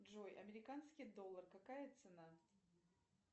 джой американский доллар какая цена